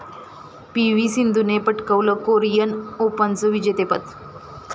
P V सिंधूने पटकावलं Korean ओपनचं विजेतेपद